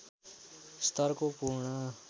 स्तरको पूर्ण